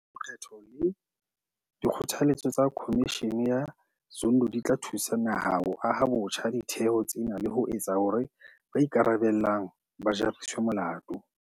Diphetho le dikgothaletso tsa Khomishene ya Zondo di tla thusa naha ho aha botjha ditheo tsena le ho etsa hore ba ikarabellang ba jariswe molato.